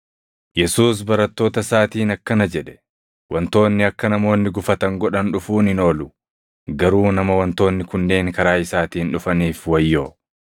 Yesuus barattoota isaatiin akkana jedhe; “Wantoonni akka namoonni gufatan godhan dhufuun hin oolu; garuu nama wantoonni kunneen karaa isaatiin dhufaniif wayyoo!